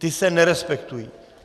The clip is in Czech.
Ty se nerespektují.